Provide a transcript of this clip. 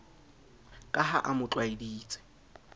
ka ha a mo tlwaeditse